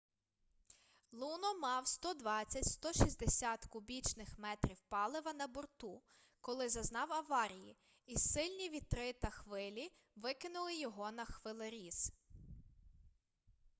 луно мав 120-160 кубічних метрів палива на борту коли зазнав аварії і сильні вітри та хвилі викинули його на хвилеріз